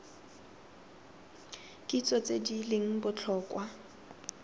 kitso tse di leng botlhokwa